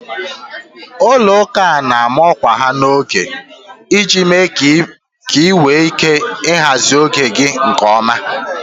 Ụlọ ụka a na ama ọkwa ha n'oge iji mee ka ị nwee ike ị hazị oge gị nke ọma